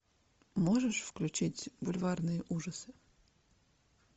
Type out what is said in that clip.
можешь включить бульварные ужасы